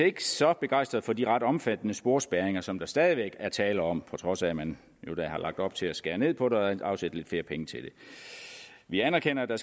ikke så begejstrede for de ret omfattende sporspærringer som der stadig væk er tale om på trods af at man jo da har lagt op til at skære ned på det og afsætte lidt flere penge til det vi anerkender at der